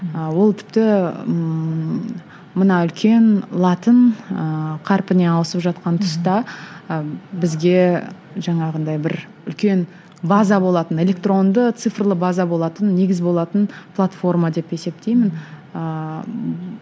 ы ол тіпті ммм мына үлкен латын ыыы қарпіне ауысып жатқан тұста ы бізге жаңағындай бір үлкен база болатын электронды цифрлы база болатын негіз болатын платформа деп есептеймін ыыы